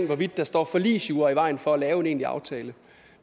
hvorvidt der står forligsjura i vejen for at lave en egentlig aftale